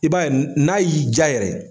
I b'a ye, n'a y'i diya yɛrɛ